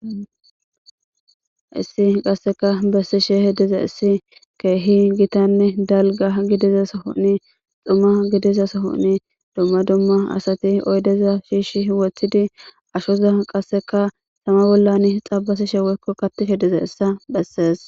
issi qasseka bessishe hediza issi keehi gitanne dalga gidiza sahonni xumma gidiza sohonni dumma dumma asati oydeza shiishi woththidi ashoza qasseka sama bollan xabasi sheewekko kattife diza issa bessees